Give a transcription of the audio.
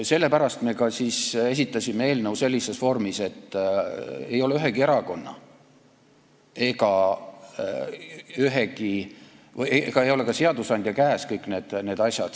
Sellepärast me ka esitasime eelnõu sellises vormis, et ei ole ühegi erakonna ega ole ka seadusandja käes kõik need asjad.